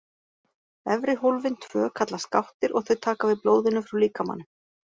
Efri hólfin tvö kallast gáttir og þau taka við blóðinu frá líkamanum.